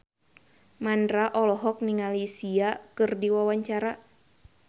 Mandra olohok ningali Sia keur diwawancara